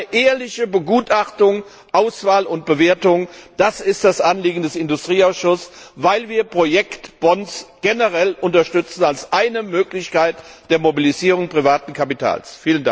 Also eine ehrliche Begutachtung, Auswahl und Bewertung, das ist das Anliegen des Industrieausschusses, weil wir Projektbonds generell unterstützen als eine Möglichkeit der Mobilisierung privaten Kapitals!